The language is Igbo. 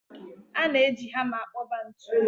A na-eji hama akpoba ntu.